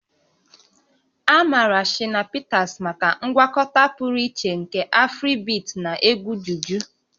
A maara Shina Peters maka ngwakọta pụrụ iche nke Afribeat na egwu juju